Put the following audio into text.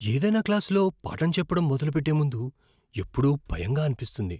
ఏదైనా క్లాసులో పాఠం చెప్పడం మొదలుపెట్టే ముందు ఎప్పుడూ భయంగా అనిపిస్తుంది.